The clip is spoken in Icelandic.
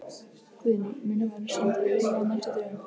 Guðný: Mun hann verða sendur í leyfi á næstu dögum?